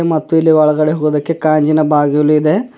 ಮತ್ತು ಇಲ್ಲಿ ಒಳಗಡೆ ಹೋಗೋದಕ್ಕೆ ಕಾಂಜಿನ ಬಾಗಿಲು ಇದೆ.